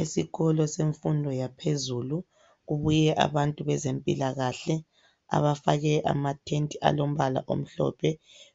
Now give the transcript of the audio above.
Esikolo semfundo yaphezulu kubuye abantu bezempilakahle abafake ama tenti alombala omhlophe,